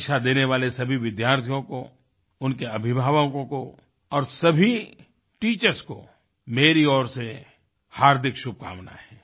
परीक्षा देने वाले सभी विद्यार्थियों को उनके अभिभावकों को और सभी टीचर्स को मेरी ओर से हार्दिक शुभकामनाएँ हैं